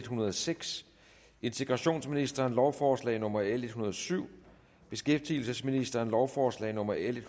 hundrede og seks integrationsministeren lovforslag nummer l en hundrede og syv beskæftigelsesministeren lovforslag nummer l